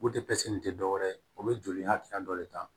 nin tɛ dɔwɛrɛ ye o bɛ joli y'a tigi ka dɔ le ta